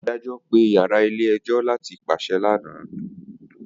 Adajọ pe yara ile-ẹjọ lati paṣẹ lana